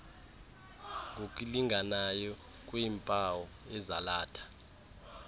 ngokulinganayo kwiimpawu ezalatha